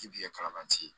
I bi ye kalan tɛ